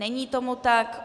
Není tomu tak.